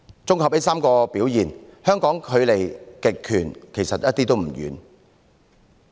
綜合上述3種表現，香港距離極權統治其實一點也不遠。